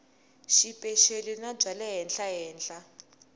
xipeceli na bya le henhlahenhla